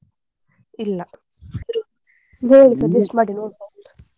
ಇಲ್ಲ ಹೇಳಿ suggest ಮಾಡಿ ನೋಡುವ.